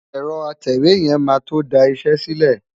Ẹ̀rọ atẹ̀wé yẹn máa tó da iṣẹ́ sílẹ̀.